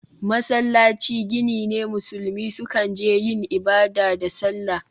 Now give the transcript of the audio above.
Masallaci gini ne musulmi sukan je yin ibada da sallah.